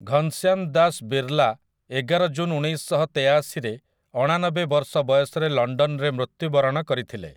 ଘନ୍‌ଶ୍ୟାମ୍ ଦାସ୍ ବିର୍ଲା ଏଗାର ଜୁନ୍ ଉଣେଇଶଶହତେୟାଶିରେ ଅଣାନବେ ବର୍ଷ ବୟସରେ ଲଣ୍ଡନରେ ମୃତ୍ୟୁବରଣ କରିଥିଲେ ।